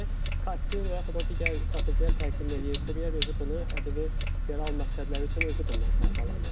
Yəni kassir və yaxud o digər satıcıya təqdim eləyir, kuryer özü bunu ƏDV geri al məqsədləri üçün özü bundan faydalanır.